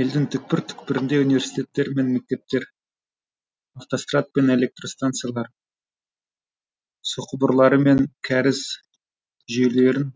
елдің түкпір түкпірінде университеттер мен мектептер автострад пен электростанциялар суқұбырлары мен кәріз жүйелерін